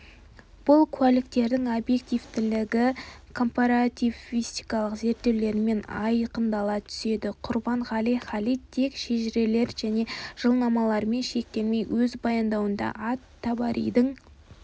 бұл куәліктердің объективтілігі компаративистикалық зерттеулермен айқындала түседі құрбанғали халид тек шежірелер және жылнамалармен шектелмей өз баяндауында ат-табаридің